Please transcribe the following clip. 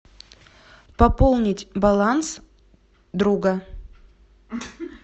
пополнить баланс друга